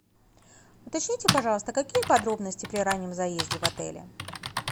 уточните пожалуйста какие подробности при раннем заезде в отеле